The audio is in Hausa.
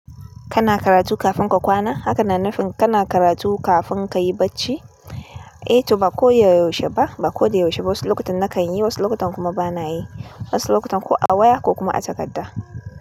Kana karatu kafin ka kwana? Haka na nufin kana karatu kafin ka yi barci? Eh to ba ko da yaushe ba, ba ko da yaushe ba. Wasu lokutan nakan yi, wasu lokutan kuma bana yi. Wasu lokutan ko a waya ko kuma a takarda.